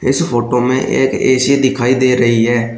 इस फोटो में एक ए_सी दिखाई दे रही है।